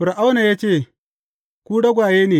Fir’auna ya ce, Ku ragwaye ne!